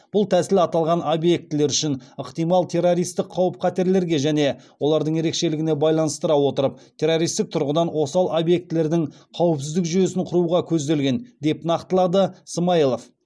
бұл тәсіл аталған объектілер үшін ықтимал террористік қауіп қатерлерге және олардың ерекшелігіне байланыстыра отырып террористік тұрғыдан осал объектілердің қауіпсіздік жүйесін құруға көзделген деп нақтылады смайылов